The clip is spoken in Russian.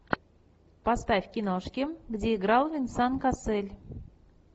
поставь киношки где играл венсан кассель